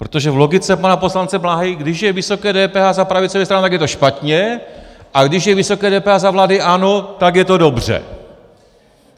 Protože v logice pana poslance Bláhy, když je vysoké DPH za pravicové strany, tak je to špatně, a když je vysoké DPH za vlády ANO, tak je to dobře.